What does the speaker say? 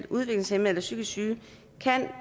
udviklingshæmmede eller psykisk syge kan